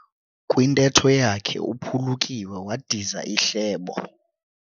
Kwintetho yakhe uphulukiwe wadiza ihlebo.